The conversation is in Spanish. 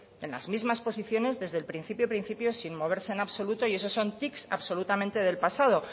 en las mismas posiciones desde el principio principio sin moverse en absoluto y eso son tics absolutamente del pasado